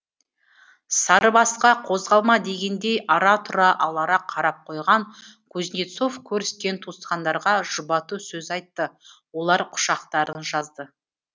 сарыбасқа қозғалма дегендей ара тұра алара қарап қойған кузнецов көріскен туысқандарға жұбату сөз айтты олар құшақтарын жазды